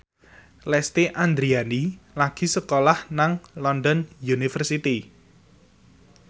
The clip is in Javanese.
Lesti Andryani lagi sekolah nang London University